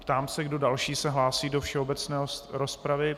Ptám se, kdo další se hlásí do všeobecné rozpravy.